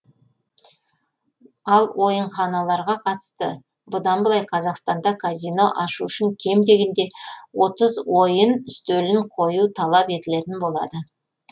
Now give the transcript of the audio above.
ал ойынханаларға қатысты бұдан былай қазақстанда казино ашу үшін кем дегенде отыз ойын үстелін қою талап етілетін болады